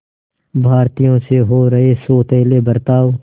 भारतीयों से हो रहे सौतेले बर्ताव